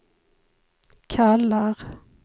kallar